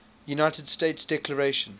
united states declaration